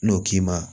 N'o k'i ma